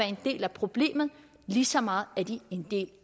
en del af problemet lige så meget er de en del